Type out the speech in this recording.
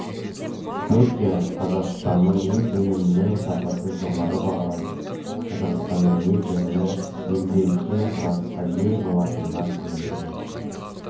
түркия қазақстанның ет өнімінің сапасын жоғары бағалайды қазақстанның ет өнімі елде үлкен сұранысқа ие болатынына сенімдімін